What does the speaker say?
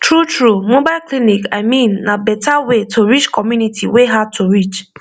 truetrue mobile clinic i mean na better way to reach community wey hard to enter